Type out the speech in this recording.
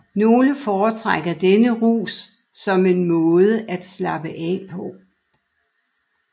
Nogle foretrækker denne rus som en måde at slappe af på